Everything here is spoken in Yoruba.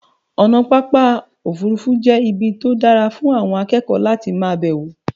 ọ̀nà pápá òfurufú jẹ́ ibi tó dára fún àwọn akékòó láti ma bẹ̀wọ̀